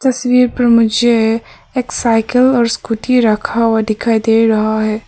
तस्वीर पर मुझे एक साइकल और स्कूटी रखा हुआ दिखाई दे रहा है।